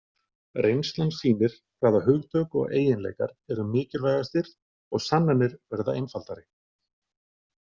Reynslan sýnir hvaða hugtök og eiginleikar eru mikilvægastir og sannanir verða einfaldari.